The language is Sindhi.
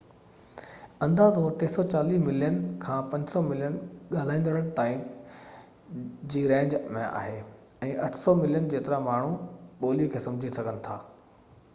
اندازو 340 ملين کان 500 ملين ڳالهائيندڙن تائين جي رينج ۾ آهي ۽ 800 ملين جيترا ماڻهو ٻولي کي سمجهي سگهن ٿا